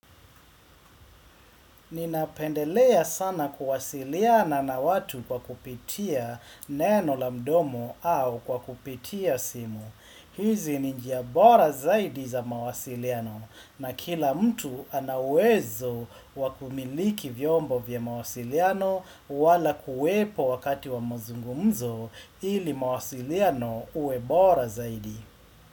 Ninapendelea sana kuwasiliana na watu kwa kupitia neno la mdomo au kwa kupitia simu. Hizi ni njia bora zaidi za mawasiliano na kila mtu ana uwezo wakumiliki vyombo vya mawasiliano wala kuwepo wakati wa mzungumzo ili mawasiliano uwe bora zaidi.